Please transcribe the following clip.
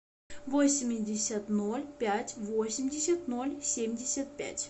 восемьдесят ноль пять восемьдесят ноль семьдесят пять